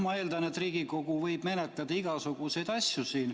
Ma eeldan, et Riigikogu võib menetleda igasuguseid asju.